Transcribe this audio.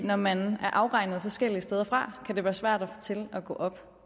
når man er afregnet forskellige steder fra kan det være svært det til at gå op